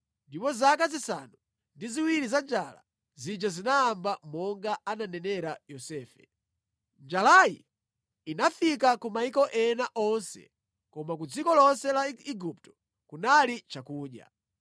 ndipo zaka zisanu ndi ziwiri za njala zija zinayamba monga ananenera Yosefe. Njalayi inafika ku mayiko ena onse koma ku dziko lonse la Igupto kunali chakudya.